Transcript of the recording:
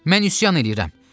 Mən üsyan eləyirəm.